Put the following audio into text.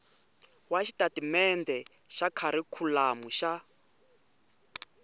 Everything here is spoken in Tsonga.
wa xitatimendhe xa kharikhulamu xa